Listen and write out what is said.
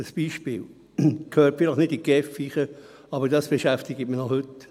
Ein Beispiel – es gehört vielleicht nicht in die GEF, aber es beschäftigt mich noch heute: